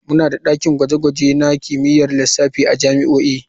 Muna da dakin gwaje-gwaje na kimiyyar lissafi a jami'o'i.